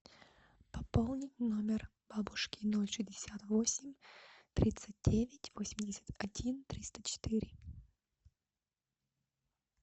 пополнить номер бабушки ноль шестьдесят восемь тридцать девять восемьдесят один триста четыре